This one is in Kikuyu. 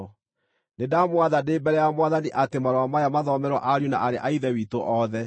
Nĩndamwatha ndĩ mbere ya Mwathani atĩ marũa maya mathomerwo ariũ na aarĩ a Ithe witũ othe.